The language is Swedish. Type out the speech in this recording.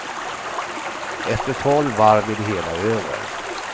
Efter tolv varv är det hela över.